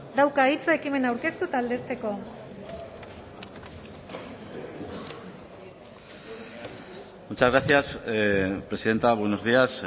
dauka hitza ekimena aurkeztu eta aldezteko muchas gracias presidenta buenos días